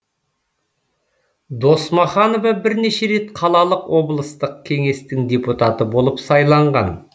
досмаханова бірнеше рет қалалық облыстық кеңестің депутаты болып сайланған